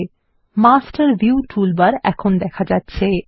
লক্ষ্য করুন master view toolbar এখন দেখা যাচ্ছে